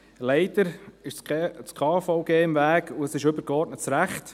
Leider ist das KVG im Weg, und es ist übergeordnetes Recht.